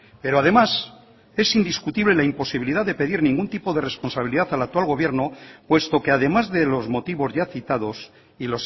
pero además es indiscutible la imposibilidad de pedir ningún tipo de responsabilidad al actual gobierno puesto que además de los motivos ya citados y